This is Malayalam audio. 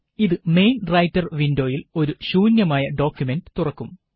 ഇത് മെയിന് റൈറ്റര് വിന്ഡോയില് ഒരു ശൂന്യമായ ഡോക്കുമന്റ് തുറക്കും